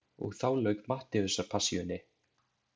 Og þá lauk Mattheusarpassíunni.